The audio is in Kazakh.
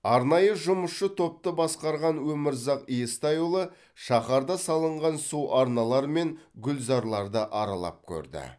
арнайы жұмысшы топты басқарған өмірзақ естайұлы шаһарда салынған су арналары мен гүлзарларды аралап көрді